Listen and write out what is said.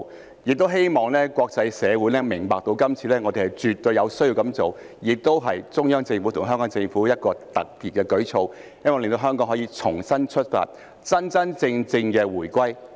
同時，也希望國際社會明白，今次我們絕對有需要這樣做，這是中央政府和特區政府一個特別的舉措，希望令香港可重新出發，真正回歸。